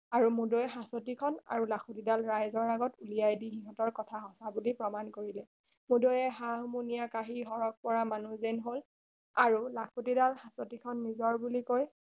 আৰু মূদৈৰ হাঁচতি খন আৰু লাখুটি ডাল ৰাইজৰ আগত উলিয়াই দি সিহঁতৰ কথা সঁচা বুলি প্ৰমাণ কৰিলে মূদৈয়ে হা হুমুনিয় কাঁহী চৰক পৰা মানুহ যেন হল আৰু লাখুটি ডাল আৰু হাঁচতি খন নিজৰ বুলি কৈ